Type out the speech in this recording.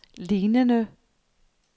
lignende